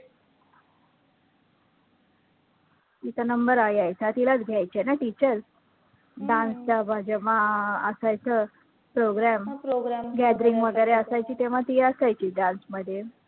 तिचा number अं यायचा तिलाच घ्यायचे ना teacher dance जेव्हा जेव्हा असायचं program program gathering वैगरे असायची तेव्हा ती असायची dance मध्ये